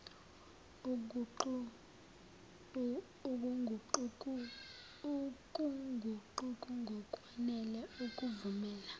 ukuguquguka ngokwanele ukuvumela